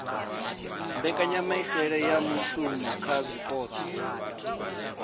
mbekanyamitele ya muvhuso kha zwipotso